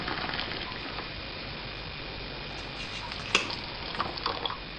moyiaritin(virusini)peer moyiaritin e virusi, ntumia ntokitin naunishoreki too nakitubulu sidain